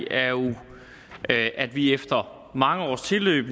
er jo at at vi efter mange års tilløb